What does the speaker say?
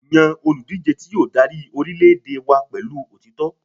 Yan oludije ti yoo dari orilẹ-ede wa pẹlu otitọ